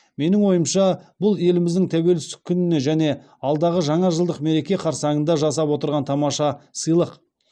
менің ойымша бұл еліміздің тәуелсіздік күніне және алдағы жаңа жылдық мереке қарсаңында жасап отырған тамаша сыйлық